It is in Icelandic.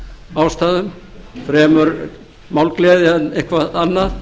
ástæðum fremur málgleði eða eitthvað annað